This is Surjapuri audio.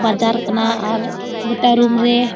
बाजार कना आर गोटा रूम रे।